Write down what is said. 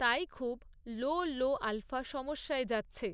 তাই খুব লো লো আল্ফ়া সমস্যায় যাচ্ছে।